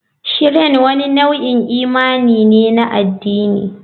Shrine wani nau'in imani ne na addini.